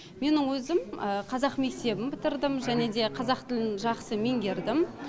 менің өзім қазақ мектебін бітірдім және де қазақ тілін жақсы меңгердім